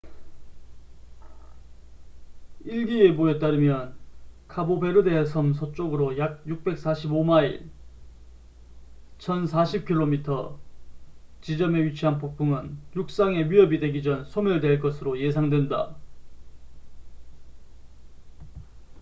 일기예보에 따르면 카보베르데 섬 서쪽으로 약 645마일1040 킬로미터 지점에 위치한 폭풍은 육상에 위협이 되기 전 소멸될 것으로 예상된다